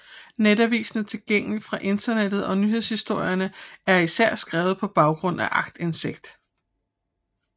Netavisen er tilgængelig fra internettet og nyhedshistorierne er især skrevet på baggrund af aktindsigt